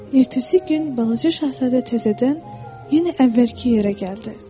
Ertəsi gün balaca şahzadə təzədən yenə əvvəlki yerə gəldi.